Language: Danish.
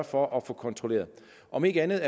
for at få kontrolleret om ikke andet